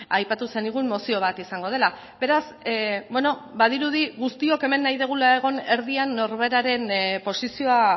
aipatu zenigun mozio bat izango dela beraz badirudi guztiok hemen nahi dugula egon erdian norberaren posizioa